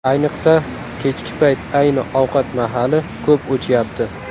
Ayniqsa, kechki payt ayni ovqat mahali ko‘p o‘chyapti.